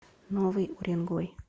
новый уренгой